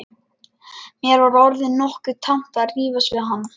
Mér var orðið nokkuð tamt að rífast við hann.